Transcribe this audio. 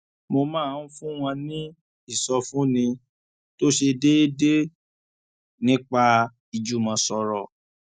mo máa ń fún wọn ní ìsọfúnni tó ṣe déédéé nípa ìjùmọsọrọ